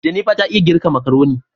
" Jennifer " ta iya girka makaroni.